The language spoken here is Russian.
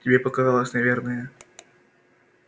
тебе показалось наверное